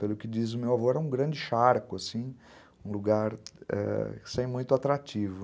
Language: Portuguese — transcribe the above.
Pelo que diz o meu avô, era um grande charco, um lugar sem muito atrativo.